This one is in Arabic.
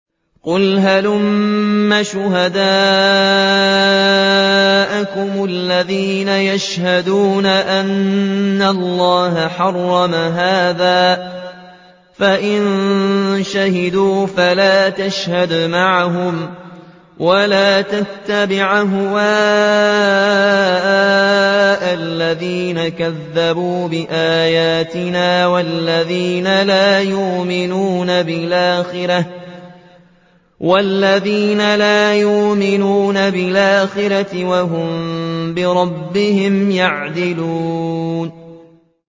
قُلْ هَلُمَّ شُهَدَاءَكُمُ الَّذِينَ يَشْهَدُونَ أَنَّ اللَّهَ حَرَّمَ هَٰذَا ۖ فَإِن شَهِدُوا فَلَا تَشْهَدْ مَعَهُمْ ۚ وَلَا تَتَّبِعْ أَهْوَاءَ الَّذِينَ كَذَّبُوا بِآيَاتِنَا وَالَّذِينَ لَا يُؤْمِنُونَ بِالْآخِرَةِ وَهُم بِرَبِّهِمْ يَعْدِلُونَ